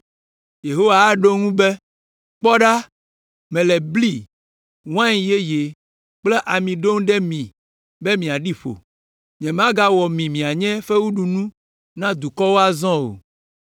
Yehowa aɖo eŋu be, “Kpɔ ɖa, mele bli, wain yeye kple ami ɖom ɖe mi be miaɖi ƒo. Nyemagawɔ mi mianye fewuɖunu na dukɔwo azɔ o.